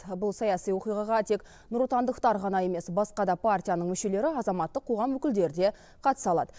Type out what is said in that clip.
бұл саяси оқиғаға тек нұротандықтар ғана емес басқа да партияның мүшелері азаматтық қоғам өкілдері де қатыса алады